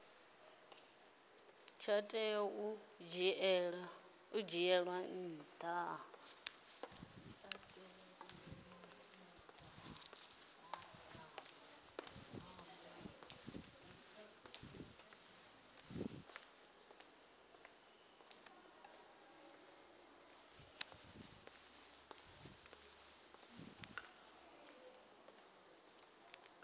tsha tea u dzhielwa nha